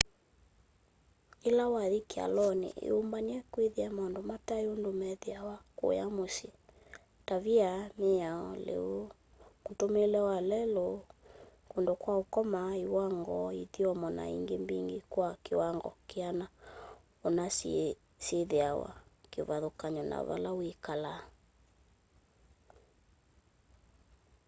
ila wathi kyaloni iyumbanye kwithia maundu matai undu methiawa kũya mũsyĩ tavia mĩao lĩu mũtũumĩĩle wa lelũ kũndũ kwa ũkoma iwango ithyomo na ingĩ mbingĩ kwa kĩwango kĩana ũna syĩthĩwa kĩvathĩkany'o na vala wĩkalaa